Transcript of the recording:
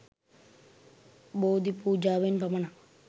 බෝධිපූජාවෙන් පමණක්